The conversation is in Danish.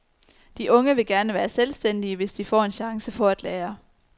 De unge vil gerne være selvstændige, hvis de får en chance for at lære.